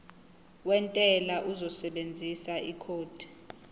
wentela uzosebenzisa ikhodi